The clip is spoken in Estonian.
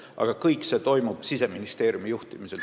Aga kõik see toimub Siseministeeriumi juhtimisel.